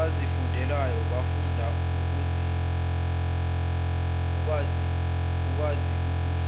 abazifundelwayo bafunda ukwaziukuthi